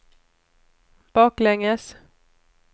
baklänges